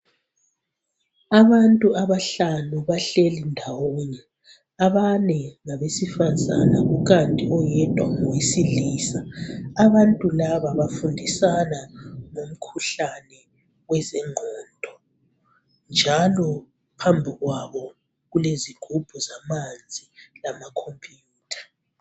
Abantu abahlanu bahleli ndawonye abane ngabesifazana kukanti oyedwa ngowe silisa abantu laba bafundisa ngomkhuhlane wezengqondo njalo phambi kwabo kulezigubhu zamanzi lamakhompiyutha.